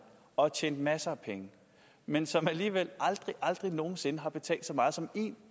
og tjent masser af penge men som alligevel aldrig aldrig nogensinde har betalt så meget som en